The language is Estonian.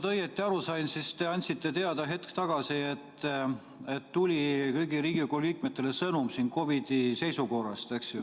Kui ma nüüd õigesti aru sain, siis te andsite teada hetk tagasi, et kõigile Riigikogu liikmetele tuli sõnum COVID-i seisukorrast.